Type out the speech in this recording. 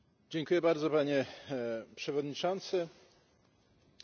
Sprawozdanie, nad którym debatujemy, jest niezwykle interesujące.